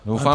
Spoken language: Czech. Doufám -